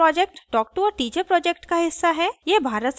spoken tutorial project talktoa teacher project का हिस्सा है